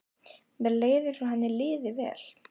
Mér leið eins og henni liði vel.